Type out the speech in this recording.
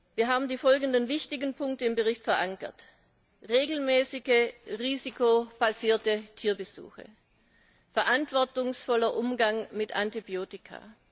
Wir haben die folgenden wichtigen Punkte im Bericht verankert regelmäßige risikobasierte Tierbesuche, verantwortungsvoller Umgang mit Antibiotika.